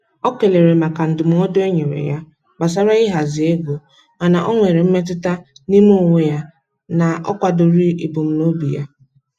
O kelere maka ndụmọdụ e nyere ya gbasara ịhazi ego, mana o nwere mmetụta n'ime onwe ya na-akwadoghị ebumnobi ya.